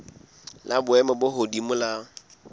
la boemo bo hodimo la